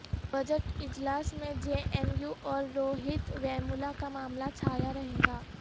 budget اجلاس میں J N U اور روہت ویمولہ کا معاملہ چھایا رہےگا